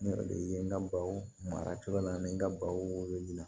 Ne de ye n ka baw mara yɔrɔ la ne ka baw wololila